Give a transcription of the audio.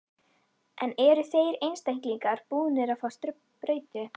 En eru þeir einstaklingar búnir að fá sprautu?